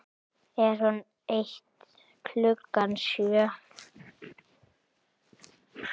Er hún eitt klukkan sjö?